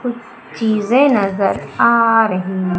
कुछ चीजें नजर आ रही--